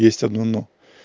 есть одно но